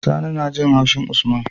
Sani najin haushin usman